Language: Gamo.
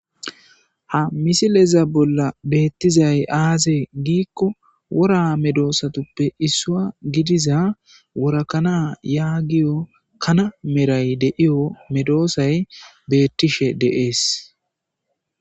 ha misileza bolla beettizay aazee giikko wora medoosatuppe issua gidiza worakanaa yagiyo kana meray deiyo medoosay beettishe de'es